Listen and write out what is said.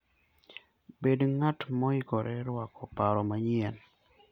Bed ng'at moikore rwako paro manyien.